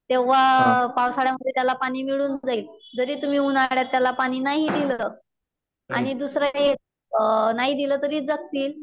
तेव्हा पावसाळ्यामध्ये त्याला पाणी मिळून जाईल. जरी तुम्ही उन्हाळ्यात त्याला पाणी नाही दिलं आणि दुसरं काही नाही दिलं तरी जगतील.